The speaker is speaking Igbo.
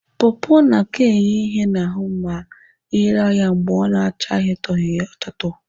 Pọpọ na-aka enye ihe n'ahụ ma ị raa ya mgbe ọ na-achatoghị achatọ.